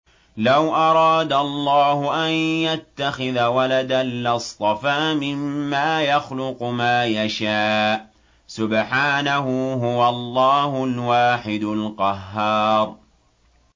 لَّوْ أَرَادَ اللَّهُ أَن يَتَّخِذَ وَلَدًا لَّاصْطَفَىٰ مِمَّا يَخْلُقُ مَا يَشَاءُ ۚ سُبْحَانَهُ ۖ هُوَ اللَّهُ الْوَاحِدُ الْقَهَّارُ